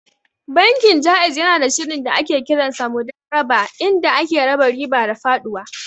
Bankin Ja'iz yanada shirin da ake kiransa Mudarabah inda ake raba riba da faɗuwa.